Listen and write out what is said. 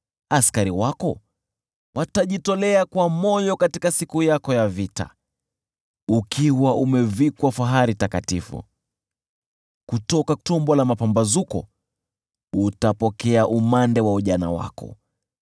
Askari wako watajitolea kwa hiari katika siku yako ya vita. Ukiwa umevikwa fahari takatifu, kutoka tumbo la mapambazuko utapokea umande wa ujana wako.